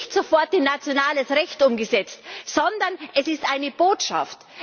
Es wird nicht sofort in nationales Recht umgesetzt, sondern es ist eine Botschaft.